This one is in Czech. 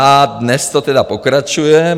A dnes to tedy pokračuje.